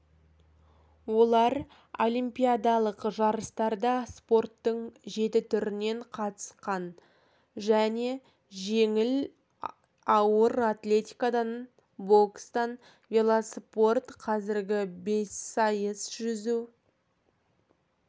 олар олимпиадалық жарыстарда спорттың жеті түрінен қатысқандар жеңіл және ауыр атлетикадан бокстан велоспорт қазіргі бессайыс жүзу